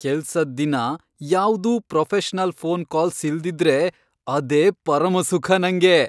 ಕೆಲ್ಸದ್ ದಿನ ಯಾವ್ದೂ ಪ್ರೊಫೆಷನಲ್ ಫೋನ್ ಕಾಲ್ಸ್ ಇಲ್ದಿದ್ರೆ ಅದೇ ಪರಮಸುಖ ನಂಗೆ.